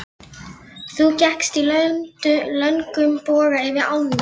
Biggi, syngdu fyrir mig „Sódóma“.